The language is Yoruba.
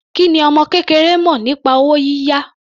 Kí ni ọmọ kékeré mọ̀ nípa owó yíyá?